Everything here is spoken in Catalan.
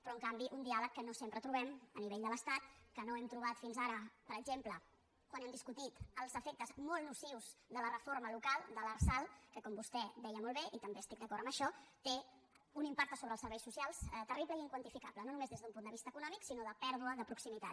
però en canvi un diàleg que no sempre trobem a nivell de l’estat que no hem trobat fins ara per exemple quan hem discutit els efectes molt nocius de la reforma local de l’arsal que com vostè deia molt bé i també estic d’acord amb això té un impacte sobre els serveis socials terrible i inquantificable no només des d’un punt de vista econòmic sinó de pèrdua de proximitat